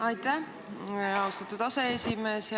Aitäh, austatud aseesimees!